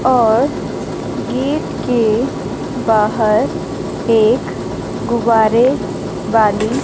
और गेट के बाहर एक गुवारे वाली--